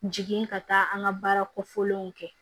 Jigin ka taa an ka baara kɔfɛlenw kɛ